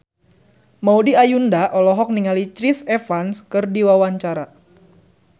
Maudy Ayunda olohok ningali Chris Evans keur diwawancara